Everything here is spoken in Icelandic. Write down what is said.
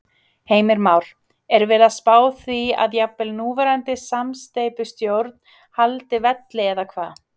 Heimir Már: Er verið að spá því að jafnvel núverandi samsteypustjórn haldi velli eða hvað?